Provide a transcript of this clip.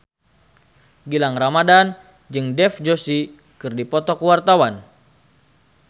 Gilang Ramadan jeung Dev Joshi keur dipoto ku wartawan